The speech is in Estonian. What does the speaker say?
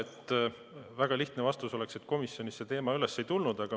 Jah, väga lihtne vastus oleks, et komisjonis see teema üles ei tulnud.